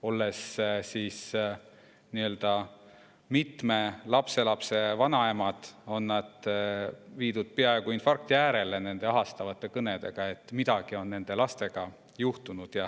Olles mitme lapselapse vanaemad, on nad viidud peaaegu infarkti äärele nende ahastavate kõnedega, et midagi on nende lastega juhtunud.